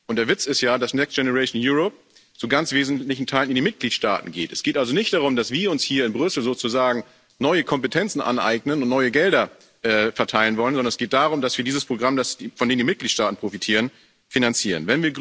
Der Witz ist ja, dass Next Generation EU zu ganz wesentlichen Teilen in die Mitgliedstaaten geht. Es geht also nicht darum, dass wir uns hier in Brüssel sozusagen neue Kompetenzen aneignen und neue Gelder verteilen wollen, sondern es geht darum, dass wir dieses Programm, von dem die Mitgliedstaaten profitieren, finanzieren.